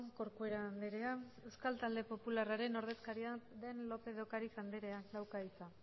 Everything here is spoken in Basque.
corcuera andrea euskal talde popularraren ordezkaria den lópez de ocariz andrea dauka hitza